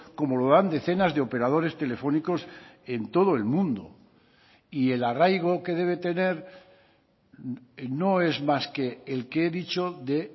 como lo dan decenas de operadores telefónicos en todo el mundo y el arraigo que debe tener no es más que el que he dicho de